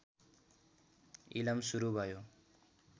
इलम सुरु भयो